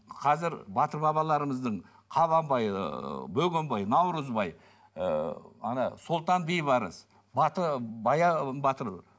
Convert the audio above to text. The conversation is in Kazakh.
қазір батыр бабаларымыздың қабанбай ыыы бөгенбай наурызбай ыыы ана сұлтан бейбарыс баян батыр